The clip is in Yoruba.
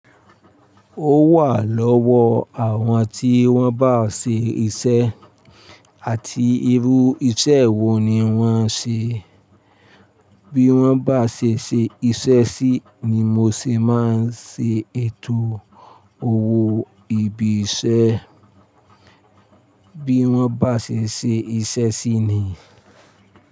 Ó wà lọ́wọ́ àwọn tí wọ́n bá ṣe isẹ́ àti irú isẹ́ wo ni wọ́n ṣe. Bí wọ́n bá ṣe ṣe iṣẹ́ sí ni mo se máa ń ṣe ètò owó ibi iṣẹ́. Bí wọ́n bá ṣe ṣe iṣẹ́ sí ni.